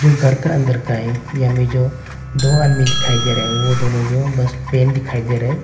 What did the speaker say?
जो घर का अंदर का है ये में जो दो आदमी दिखाई दे रहे हैं वो दोनों जो बस पेन दिखाई दे रहे हैं।